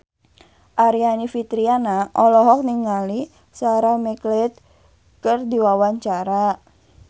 Aryani Fitriana olohok ningali Sarah McLeod keur diwawancara